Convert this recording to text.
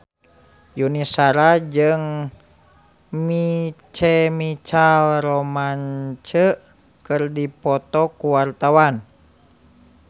Yuni Shara jeung My Chemical Romance keur dipoto ku wartawan